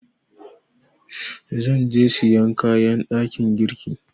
Zan je sayan kayan ɗakin girki.